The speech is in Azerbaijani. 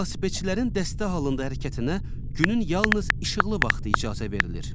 Velosipedçilərin dəstə halında hərəkətinə günün yalnız işıqlı vaxtı icazə verilir.